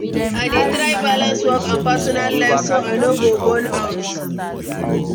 I dey try balance work and personal life so I no go burn out.